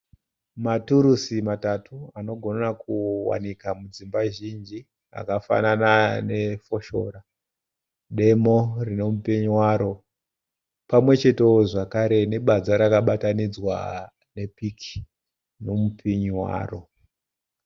Maturusi matatu anogona kuwanika kudzimba zhinji. Akafanana nefoshora, demo rine mupinyi waro pamwechetewo zvakare nebadza rakabatanidzwa nepiki nemupinyi waro.